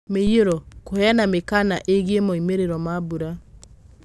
Mũiyũro: Kũveana mĩkaana ĩgiĩ moimĩrĩro ma mbura